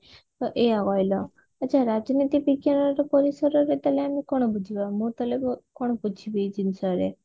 ଏଇଆ କହିଲ ଆଛା ରାଜନୀତି ବିଜ୍ଞାନ ର ପରିସର ରେ ତାହେଲେ ଆମେ କଣ ବୁଝିବା ମୁଁ ତାହେଲେ କଣ ବୁଝିବି ଏଇ ଜିନିଷ ରେ